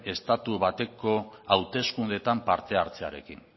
estatu bateko hauteskundeetan parte hartzearekin